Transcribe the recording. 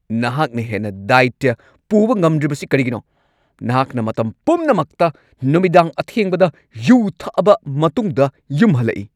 ꯅꯍꯥꯛꯅ ꯍꯦꯟꯅ ꯗꯥꯢꯇ꯭ꯌ ꯄꯨꯕ ꯉꯝꯗ꯭ꯔꯤꯕꯁꯤ ꯀꯔꯤꯒꯤꯅꯣ? ꯅꯍꯥꯛꯅ ꯃꯇꯝ ꯄꯨꯝꯅꯃꯛꯇ ꯅꯨꯃꯤꯗꯥꯡ ꯑꯊꯦꯡꯕꯗ ꯌꯨ ꯊꯛꯑꯕ ꯃꯇꯨꯡꯗ ꯌꯨꯝ ꯍꯜꯂꯛꯏ꯫